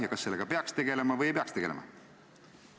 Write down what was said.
Ja kas sellega peaks tegelema või ei peaks tegelema?